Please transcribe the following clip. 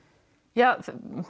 ja